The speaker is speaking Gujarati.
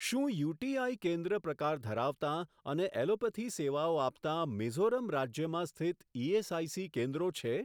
શું યુટીઆઈ કેન્દ્ર પ્રકાર ધરાવતાં અને એલોપથી સેવાઓ આપતાં મિઝોરમ રાજ્યમાં સ્થિત ઇએસઆઇસી કેન્દ્રો છે?